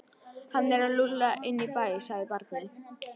Hann er lúlla inn í bæ, sagði barnið.